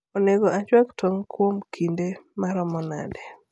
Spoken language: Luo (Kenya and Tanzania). onego achwak tong kuom kide maromo nade